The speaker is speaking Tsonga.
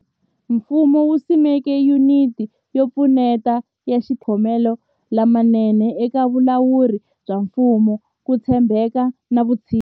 Ku nga ri khale, mfumo wu simeke Yuniti yo Pfuneta ya Xithekiniki ya Matikhomelo lamanene eka Vulawuri bya Mfumo, Ku tshembeka na Vutshinyi.